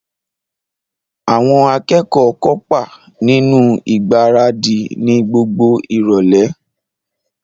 Àwọn akẹ́kọ̀ọ́ kópa nínú ìgbáradì ni gbogbo ìrọ̀lẹ́